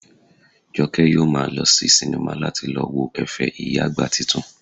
Jọkẹ́ yóò maa lọ sí sinimá láti lọ wo ẹ̀fẹ̀ ìyá àgbà titun